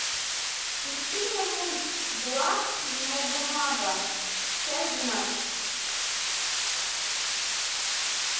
включи мне мульт дурак нобунага часть двенадцать